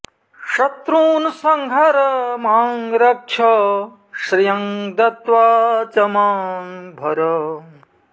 शत्रून् संहर मां रक्ष श्रियं दत्वा च मां भर